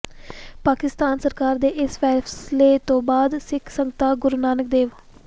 ਪਾਕਿਸਤਾਨ ਸਰਕਾਰ ਦੇ ਇਸ ਫੈਸਲੇ ਤੋਂ ਬਾਅਦ ਸਿੱਖ ਸੰਗਤਾਂ ਗੁਰੂ ਨਾਨਕ ਦੇਵ